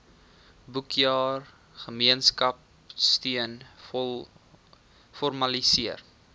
boekjaar gemeenskapsteun formaliseer